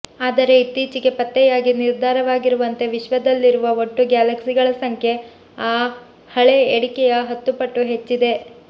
ಆದರೆ ಇತ್ತೀಚೆಗೆ ಪತ್ತೆಯಾಗಿ ನಿರ್ಧಾರವಾಗಿರುವಂತೆ ವಿಶ್ವದಲ್ಲಿರುವ ಒಟ್ಟು ಗ್ಯಾಲಕ್ಸಿಗಳ ಸಂಖ್ಯೆ ಆ ಹಳೆ ಎಣಿಕೆಯ ಹತ್ತು ಪಟ್ಟು ಹೆಚ್ಚಿದೆ